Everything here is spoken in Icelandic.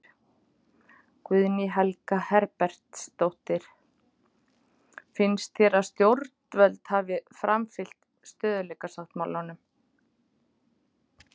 Guðný Helga Herbertsdóttir: Finnst þér að stjórnvöld hafi framfylgt stöðugleikasáttmálanum?